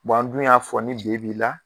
an dun y'a fɔ ni D b'i la.